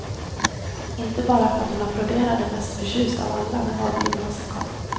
Inte bara för att hon applåderade mest förtjust av alla när valprognosen kom.